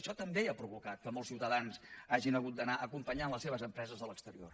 això també ha provocat que molts ciutadans hagin hagut d’anar acompanyant les seves empreses a l’exterior